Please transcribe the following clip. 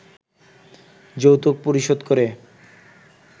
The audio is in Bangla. যৌতুক পরিশোধ করে